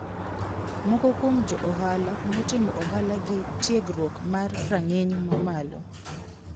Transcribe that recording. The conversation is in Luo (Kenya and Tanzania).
Moko kuom jo ohala notimo ohala gi tiegruok ma rang`iny mamalo.